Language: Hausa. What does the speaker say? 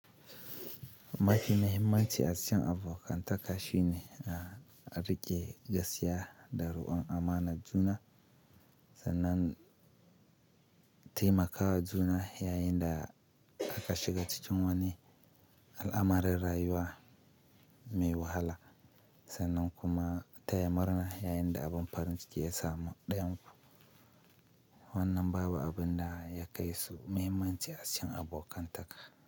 Mafi muhimmanci a cikin abokan taka shine a riƙe gaskiya da ruwan amana juna, sannan taimakawa juna yayin da aka shiga cikin wani al'amari rayuwa mai wahala sannan kuma taya murna yayin da abun farin ciki ya samu ɗayan ku. Wannan babu abin da ya kai su muhimmanci a cikin abokan taka.